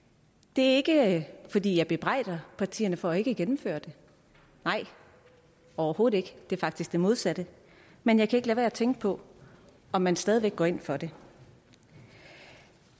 det er ikke fordi jeg bebrejder partierne for ikke at gennemføre det nej overhovedet ikke det er faktisk det modsatte men jeg kan med at tænke på om man stadig væk går ind for det